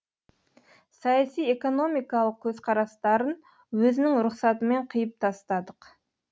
саяси экономикалық көзқарастарын өзінің рұқсатымен қиып тастадық